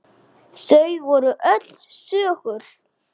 Þau voru öll þögul.